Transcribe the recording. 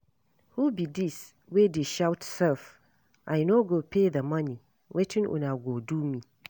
Who be dis wey dey shout sef, I no go pay the money wetin una go do me